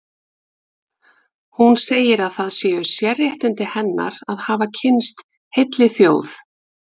Hún segir að það séu sérréttindi hennar að hafa kynnst heilli þjóð.